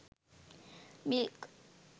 milk